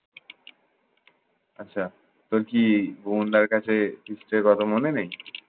আচ্ছা তোর কি ভুবনদার কাছে কথা মনে নেই?